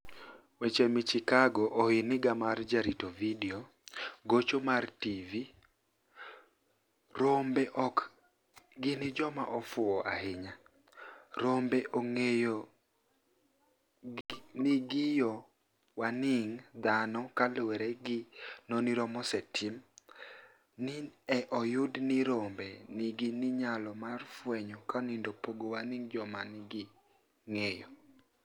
Weche Michakogo Ohiniga mar Jarito Vidio Gocho mag TV Rombe ok gini joma ofuwo ahiniya, rombe onig'eyo nig'iyo wanig' dhano kaluwore gi noniro mosetim, ni e oyud nii rombe niigi niyalo mar fweniyo kenido pogo wanig ' joma ginig'eyo.